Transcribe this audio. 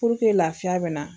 Puruke laafiya bɛ na.